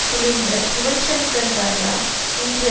துளிர்த்த யுவன் ஷங்கன் ராஜா இன்று